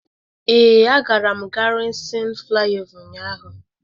Ee, agara m Gárịzịn Flaịọvá ụnyahụ.